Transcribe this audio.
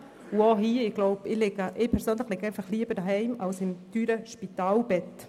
Ich persönlich liege lieber zu Hause als in einem teuren Spitalbett.